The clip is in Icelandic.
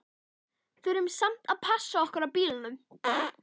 Þurftum samt að passa okkur á bílunum.